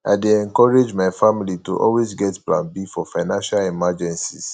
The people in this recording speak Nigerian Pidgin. i dey encourage my family to always get plan b for financial emergencies